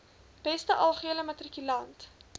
beste algehele matrikulant